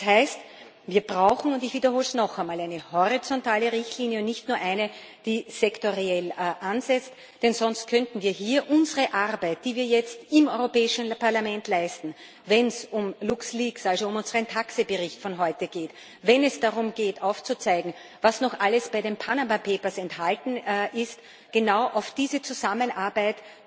Das heißt Wir brauchen und ich wiederhole es noch einmal eine horizontale Richtlinie und nicht nur eine, die sektoriell ansetzt, denn sonst könnten wir hier bei unserer Arbeit, die wir jetzt im Europäischen Parlament leisten, wenn es um LuxLeaks, also um unseren TAXE Bericht von heute geht, wenn es darum geht, aufzuzeigen, was noch alles bei den Panama Papers enthalten ist, nicht genau auf diese Zusammenarbeit